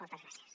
moltes gràcies